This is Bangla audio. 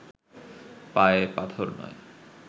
পায়ে পাথর নয়